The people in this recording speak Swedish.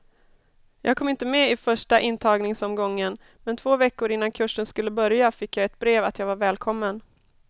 Jag kom inte med i första intagningsomgången, men två veckor innan kursen skulle börja fick jag ett brev att jag var välkommen.